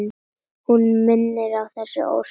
Hún minnir á þessi ósköp.